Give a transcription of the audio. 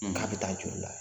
K'a bɛ taa joli la